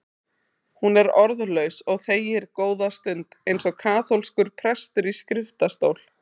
Hún er orðlaus og þegir góða stund, eins og kaþólskur prestur í skriftastól.